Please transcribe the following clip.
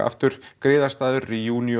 aftur griðarstaður